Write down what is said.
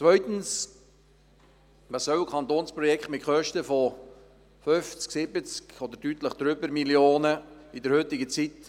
Zweitens: Was soll ein Kantonsprojekt mit Kosten von 50, 70 oder deutlich mehr Mio. Franken in der heutigen Zeit?